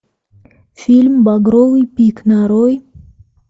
фильм багровый пик нарой